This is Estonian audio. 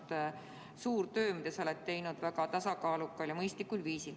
See on olnud suur töö, mida sa oled teinud väga tasakaalukal ja mõistlikul viisil.